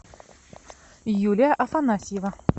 юлия афанасьева